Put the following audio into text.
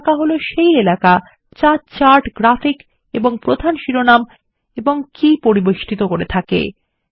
chart এলাকা হল সেই এলাকা যা চার্ট গ্রাফিক এবং প্রধান শিরোনাম ও কী পরিবেষ্ঠিত করে থাকে